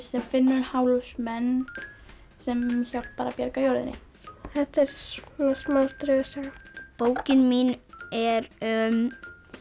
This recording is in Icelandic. sem finnur hálsmen sem hjálpar að bjarga jörðinni þetta er smá draugasaga bókin mín er um